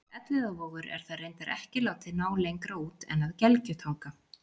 Nafnið Elliðavogur er þar reyndar ekki látið ná lengra út en að Gelgjutanga.